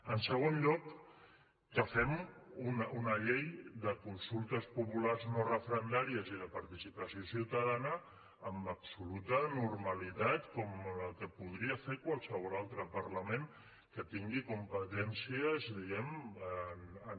en segon lloc que fem una llei de consultes populars no referendàries i de participació ciutadana amb absoluta normalitat com la que podria fer qualsevol altre parlament que tingui competències diguem ne